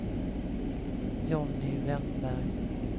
Johnny Wennberg